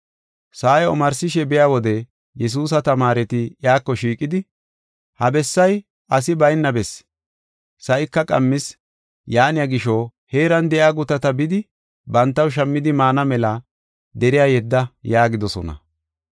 Sa7ay omarsishe biya wode Yesuusa tamaareti iyako shiiqidi, “Ha bessay asi bayna bessi, sa7ika qammis. Yaaniya gisho, heeran de7iya gutata bidi bantaw shammidi maana mela deriya yedda” yaagidosona.